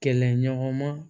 Kɛlɛɲɔgɔnma